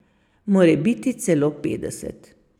Morebiti celo petdeset.